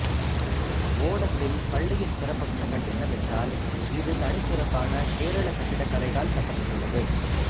ஓடத்தில் பள்ளியின் சிறப்பம்சங்கள் என்னவென்றால் இது தனிச்சிறப்பான கேரளக் கட்டிடக்கலையால் கட்டபட்டுள்ளது